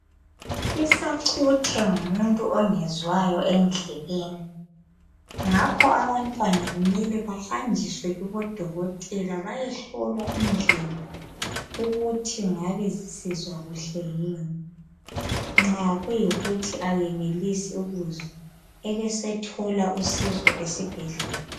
Isacuthe ngumuntu ongezwayi endlebeni ngakho abantwana kumele bayajiswe kubodokotela bayehlolwa indlebe ukuthi ngabe besizwa kuhle na nxa kuyikuthi akenelisi ukuzwa abesethola usizo esibhedlela